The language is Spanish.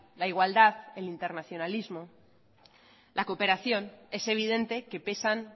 la igualdad el internacionalismo la cooperación es evidente que pesan